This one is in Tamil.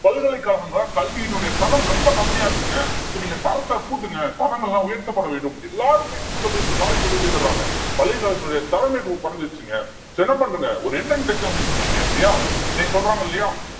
பல்கலைக்கழகங்கள்ல கல்வியினுடைய தரம் ரொம்ப கம்மியா இருக்குங்க so நீங்க தரத்தை கூட்டுங்க தரங்கள்லாம் உயர்த்தப்பட வேண்டும். எல்லாரும் போய் school ல போய் college ல போய் சேர்ந்துடுறாங்க பல்கலைக்கழகத்தினுடைய தரமே இப்ப குறைஞ்சிருச்சுங்க சரி என்ன பண்ணுங்க ஒரு entrance examination வைங்க இல்லையா இன்னைக்கு சொல்றாங்க இல்லையா